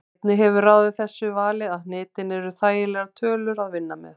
Einnig hefur ráðið þessu vali að hnitin eru þægilegar tölur að vinna með.